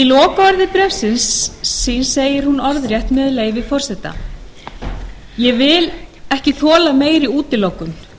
kennararéttindi í lokaorðum bréfs síns segir hún orðrétt með leyfi forseta ég vil ekki þola meiri útilokun